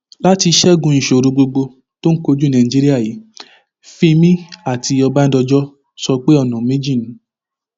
láti ṣẹgun ìṣòro gbogbo tó ń kojú nàìjíríà yìí fímí àti ọbadànjọ sọ pé ọnà méjì ni